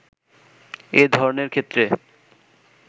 এ ধরণের ক্ষেত্রে